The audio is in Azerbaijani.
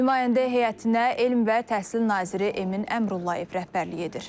Nümayəndə heyətinə elm və təhsil naziri Emin Əmrullayev rəhbərlik edir.